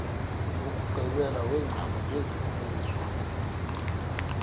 wokugqibela wengcambu yesenziwa